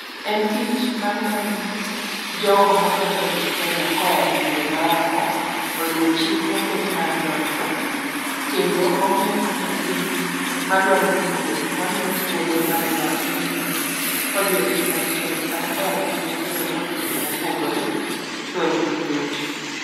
En tich mang'iyo ni jogo madwa donje kenya koyae pinje maoko oluwo chik moket mar donjo. Kendo ong'iyo ni japiny madwaro bug wuoth ma miye thuolo mar yaye pinyni kodhi e piny machielo kata koae piny machielo kodhi kumopogre to en gi yot.